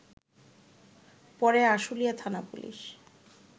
পরে আশুলিয়া থানা পুলিশ